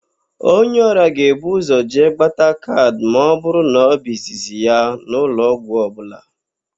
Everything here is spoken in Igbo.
Onye ọrịa ga-ebu ụzọ jee gbata kaad ma ọ bụrụ na ọ bụ izizi ya n'ụlọọgwụ ọbụla.